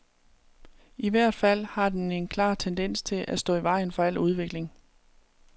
I hvert fald har den en klar tendens til at stå i vejen for al udvikling.